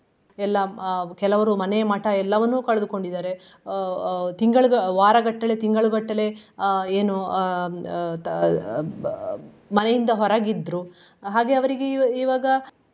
ಎಲ್ಲಾ ಅಹ್ ಕೆಲವರು ಮನೆ ಮಠ ಎಲ್ಲವನ್ನು ಕಳೆದುಕೊಂಡಿದಾರೆ. ಅಹ್ ಅಹ್ ತಿಂಗಳು ವಾರಗಟ್ಟಲೆ ತಿಂಗಳುಗಟ್ಟಲೆ ಅಹ್ ಏನು ಅಹ್ ಅಹ್ ಅಹ್ ಮನೆಯಿಂದ ಹೊರಗಿದ್ರು ಹಾಗೆ ಅವ್ರಿಗೆ ಇವ್~ ಇವಾಗ.